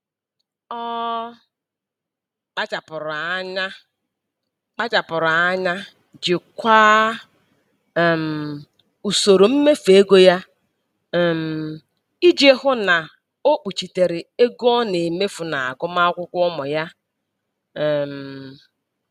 Ọ kpachapụrụ anya kpachapụrụ anya jikwaa um usoro mmefu ego ya um iji hụ na o kpuchitere ego ọ na-emefu n'agụmakwụkwọ ụmụ ya. um